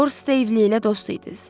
Lord Stevellylə dost idiniz.